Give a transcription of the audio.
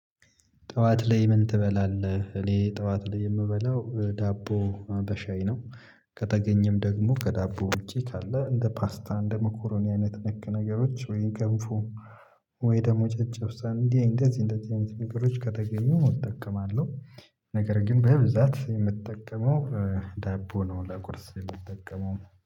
ጠዋት ላይ ምን ትበላለህ? እኔ ጠዋት ላይ የምበላው ዳቦ በሻይ ነው። ከተገኘም ደግሞ ከዳቦ ውጪ ካለ እንደ ፓስታ እንደ መኮሮኒ አይነት ነክ ነገሮች ወይም ገንፎ ወይ ደግሞ ጨጨብሳ እንደዚህ እንደዚህ አይነት ነገሮች ከተገኙ እጠቀማለሁ። ነገር ግን በብዛት የምጠቀመው ዳቦ ነው ለቁርስ የምጠቀመው